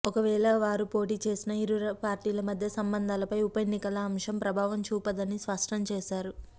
ఒకవేళ వారు పోటీ చేసినా ఇరు పార్టీల మధ్య సంబంధాలపై ఉప ఎన్నికల అంశం ప్రభావం చూపదని స్పష్టం చేశారు